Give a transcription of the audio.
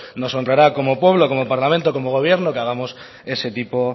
nos honrará como pueblo como parlamento como gobierno que hagamos ese tipo